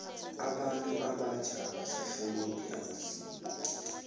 abantu abatjha abasahlonophi amasiko